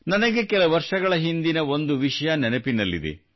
ನನಗೆ ಕೆಲ ವರ್ಷಗಳ ಹಿಂದಿನ ಒಂದು ವಿಷಯ ನೆನಪಿನಲ್ಲಿದೆ